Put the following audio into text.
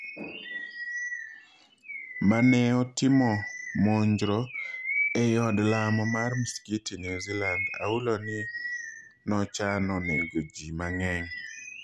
Maneotimo monjro ei od lamo mar msikiti New Zealand ahulo ni nochano nego ji mang'eny